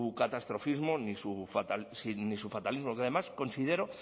catastrofismo ni su fatalismo que además considero